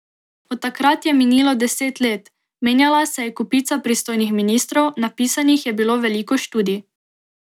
Od takrat je minilo deset let, menjala se je kopica pristojnih ministrov, napisanih je bilo veliko študij.